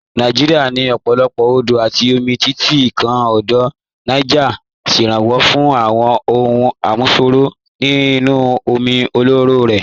Nàìjíríà ní ọ̀pọ̀lọpọ̀ odò àti omi, títí kan Odò Niger tí ń ṣèrànwọ́ fún àwọn ohun àmúṣọrọ̀ inú omi ọlọ́rọ̀ rẹ̀.